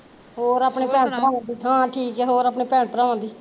ਹੋਰ ਅਪਣੇ ਭੈਣ ਭਰਾਵਾਂ ਦੀ ਹਾਂ ਠੀਕ ਐ ਹੋਰ ਅਪਣੇ ਭੈਣ ਭਰਾਵਾਂ ਦੀ?